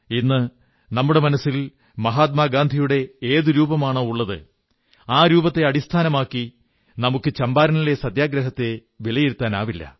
ഇന്ന് നമ്മുടെ മനസ്സിൽ മഹാത്മാ ഗാന്ധിയുടെ ഏതൊരു രൂപമാണോ ഉള്ളത് ആ രൂപത്തെ അടിസ്ഥാനമാക്കി നമുക്ക് ചമ്പാരനിലെ സത്യഗ്രഹത്തെ വിലയിരുത്താനാവില്ല